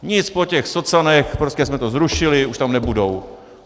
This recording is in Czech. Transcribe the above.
Nic po těch socanech, prostě jsme to zrušili, už tam nebudou.